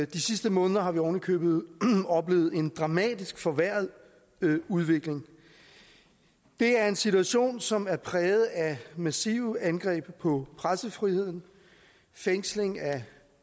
de sidste måneder har vi ovenikøbet oplevet en dramatisk forværret udvikling det er en situation som er præget af massive angreb på pressefriheden fængsling af